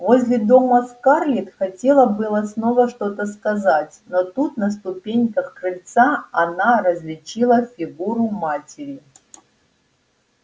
возле дома скарлетт хотела было снова что-то сказать но тут на ступеньках крыльца она различила фигуру матери